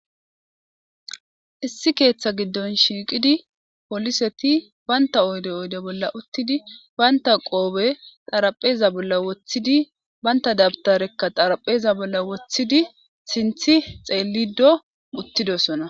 Issi keeththa giddon shiiqidi poliseti banta oyde oyde bolla uttidi banta qoobe xarapheza bolla woththidi banta dabtarekka xarapheza bolla woththidi sinthi xeellido uttidosona